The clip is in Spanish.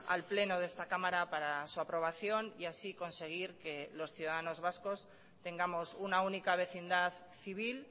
al pleno de esta cámara para su aprobación y así conseguir que los ciudadanos vascos tengamos una única vecindad civil